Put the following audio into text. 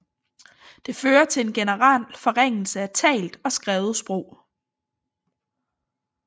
Det fører til en generel forringelse af talt og skrevet sprog